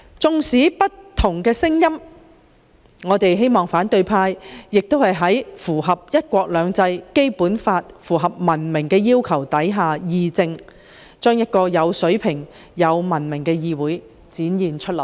縱使有不同聲音，也希望反對派能在符合"一國兩制"、《基本法》及文明要求的情況下議政，讓有水平及文明的議會文化得以展現出來。